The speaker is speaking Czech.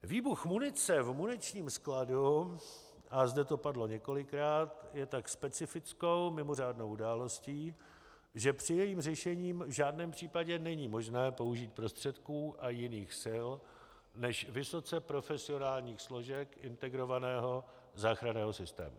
Výbuch munice v muničním skladu, a zde to padlo několikrát, je tak specifickou, mimořádnou událostí, že při jejím řešení v žádném případě není možné použít prostředků a jiných sil než vysoce profesionální složek integrovaného záchranného systému.